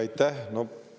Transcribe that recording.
Aitäh!